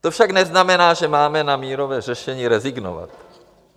To však neznamená, že máme na mírové řešení rezignovat.